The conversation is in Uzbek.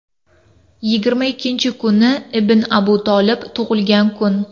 Yigirma ikkinchi kuni ibn Abu Tolib tug‘ilgan kun.